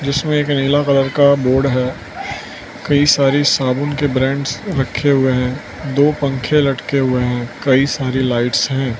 उसमें एक नीला कलर का बोर्ड है कई सारी साबुन के ब्रांड्स रखे हुए हैं दो पंखे लटके हुए हैं कई सारी लाइट्स हैं।